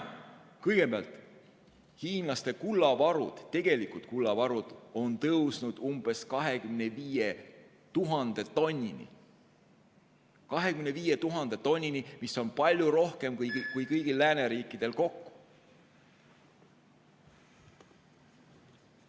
Kõigepealt, hiinlaste tegelikud kullavarud on kasvanud umbes 25 000 tonnini, seda on palju rohkem kui kõigil lääneriikidel kokku.